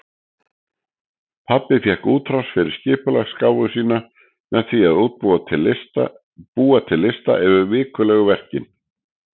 Pabbi fékk útrás fyrir skipulagsgáfu sína með því að búa til lista yfir vikulegu verkin.